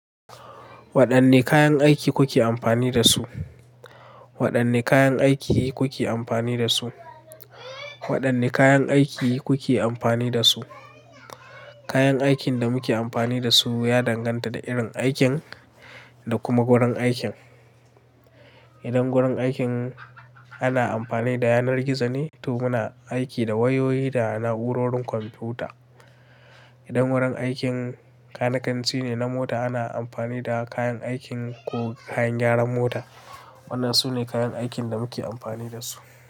Waɗanne kayan aiki kuke amfani da su? Waɗanne kayan aiki kuke amfani da su? Waɗanne kayan aiki kuke amfani da su? Kayan aikin da muke amfani da su ya danganta da irin aikin da kuma wurin aikin. Idan wurin aikin ana amfani da yanar gizo ne, to muna aiki da wayoyi da na'urorin kwamfuta. Idan wurin aikin kanikanci ne na mota, ana amfani da kayan aikin ko kayan gyaran mota. Waɗannan su ne kayan aikin da muke amfani da su.